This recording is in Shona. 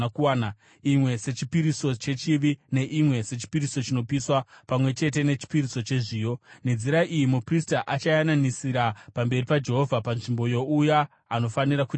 imwe sechipiriso chechivi neimwe sechipiriso chinopiswa pamwe chete nechipiriso chezviyo. Nenzira iyi muprista achayananisira pamberi paJehovha, panzvimbo youya anofanira kucheneswa.”